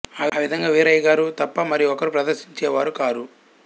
ఆ విధంగా వీరయ్యగారు తప్పా మరి ఒకరు ప్రదర్శించే వారు కారు